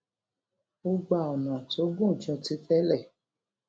ó gba ònà tó gùn ju ti télè